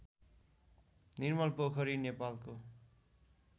निर्मलपोखरी नेपालको